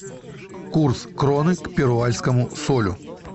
курс кроны к перуанскому солю